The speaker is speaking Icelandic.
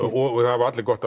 hafa allir gott